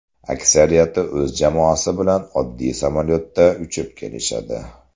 Aksariyati o‘z jamoasi bilan oddiy samolyotda uchib kelishadi.